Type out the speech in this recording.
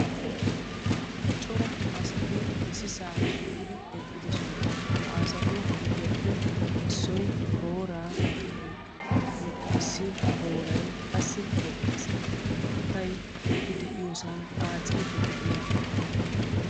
Cora asati issisaa shiiqidi eqqidosona. Ha asatu giddoppe issoy booraa oyqqi uttiis. Issi booray qassi eqqiis. Maatay eti de'yosan aacciiddi de'iyagee de'ees.